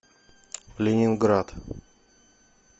ленинград